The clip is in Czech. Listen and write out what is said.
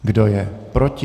Kdo je proti?